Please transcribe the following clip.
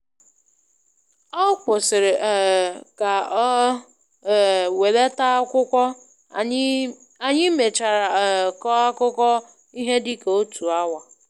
Ọ kwụsịrị um ka ọ um welata akwụkwọ, anyị mèchàrà um kọọ akụkọ ihe dị ka otu awa.